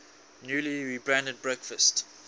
newly rebranded breakfast